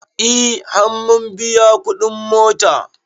E har mun biya kuɗin mota